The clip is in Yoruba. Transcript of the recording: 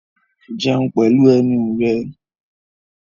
Jẹun pẹ̀lú ẹnu rẹ!